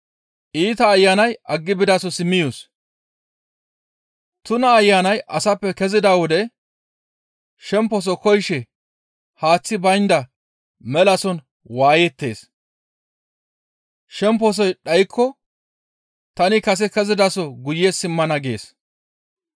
«Tuna ayanay asappe kezida wode shemposo koyishe haaththi baynda melason waayettees; shemposoy dhaykko, ‹Tani kase kezidaso guye simmana› gees.